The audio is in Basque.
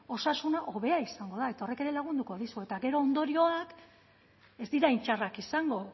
osasuna hobea izango da eta horrek ere lagunduko dizu eta gero ondorioak ez dira hain txarrak izango